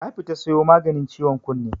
nafita siyo maganin ciwon kunne.